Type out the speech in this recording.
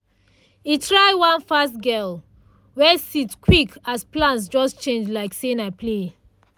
e try one fast gel wey set quick as plans just change like say na play.